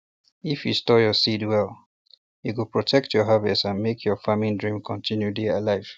if you store your seeds well e go protect your harvest and make your farming dream continue dey alive